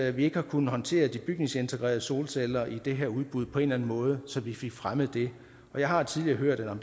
at vi ikke har kunnet håndtere de bygningsintegrerede solceller i det her udbud på en eller anden måde så vi fik fremmet det jeg har tidligere hørt at